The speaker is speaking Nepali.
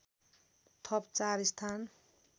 थप ४ स्थान